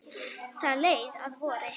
Það leið að vori.